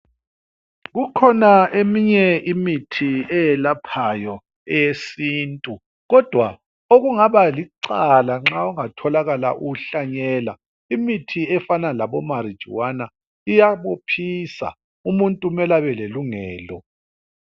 Kukhona eminye imithi eyelaphayo, eyesintu kodwa okungaba licala nxa ungatholakala uwuhlanyela. Imithi efanana labo "marijuana"iyabophisa. Umuntu kumele abelelungelo.